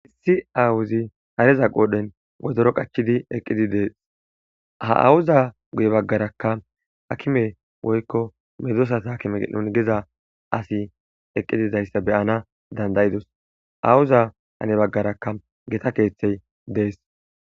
issi awuzi hareza qoodhen wozoro qachidi eqqidi dees ha awuza guye baggarakka akime woykko medosas hakime nun geza asi eqqididayssa beyana dandayidos awuza hane baggaraka geta keeththey dees